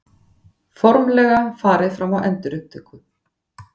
Formlega farið fram á endurupptöku